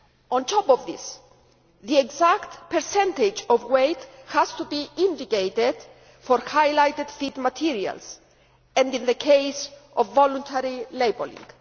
On top of this, the exact percentage of weight has to be indicated for highlighted feed materials, and in the case of voluntary labelling.